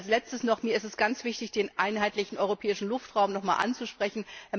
Als Letztes noch Mir ist es ganz wichtig, den Einheitlichen Europäischen Luftraum noch einmal anzusprechen.